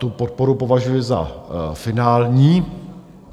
Tu podporu považuji za finální.